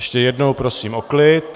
Ještě jednou prosím o klid.